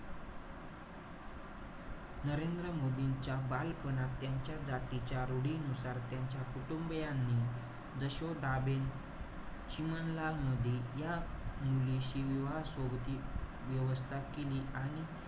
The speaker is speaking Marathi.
नरेंद्र मोदींच्या बालपणात त्यांच्या जातीच्या रूढीनुसार त्यांच्या कुटुंबीयांनी यशोदाबेन चिमणलाल मोदी या मुलीशी विवाह सोबती व्यवस्था केली. आणि,